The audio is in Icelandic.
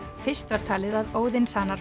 fyrst var talið að